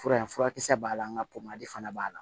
Fura in furakisɛ b'a la nga fana b'a la